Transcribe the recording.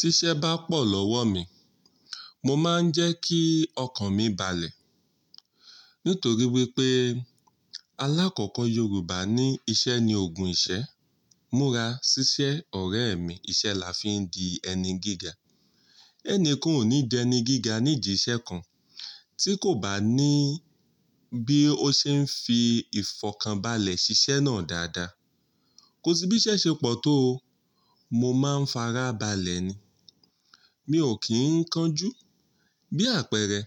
Tí ṣẹ́ bá pọ̀ lọ́wọ́ mi, mo máa ń jẹ́ kí ọkàn mi balẹ̀. Nítorí wípé alákọ̀ọ́kọ́ Yorùbá ní "Iṣẹ́ ni Ògùn ìṣẹ́". Múra ṣiṣẹ́ ọ̀rẹ́ mi. Iṣẹ́ là fi ń di ẹni gíga. Ẹnikan ò ní d'ẹni gíga ní ìdìṣẹ́ kan, tí kò bá ní bí ó ṣe ń fi ìfọ̀kànbalẹ̀ ṣiṣẹ́ náà dáadáa. Kò sí bí iṣẹ́ ṣe pọ̀ tó o, mo máa ń farabalẹ̀ ni. Mi ò kí ń kan jú. Bí àpẹẹrẹ,